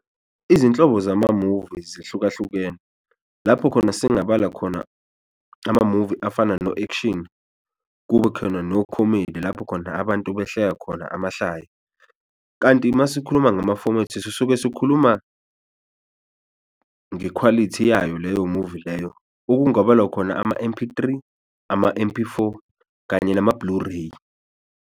Izinhlobo zamamuvi zihlukahlukene lapho khona singabala khona amamuvi afana no-action, kube khona nokhomedi lapho khona abantu behleka khona amahlaya. Kanti uma sikhuluma ngamafomethi sisuke sikhuluma ngekhwalithi yayo leyo muvi leyo okungabalwa khona ama-M_P three, ama-M_P four kanye nama Blu-ray.